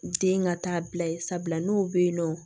Den ka taa bila ye sabula n'o bɛ yen nɔ